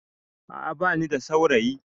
A'a ba ni da saurayi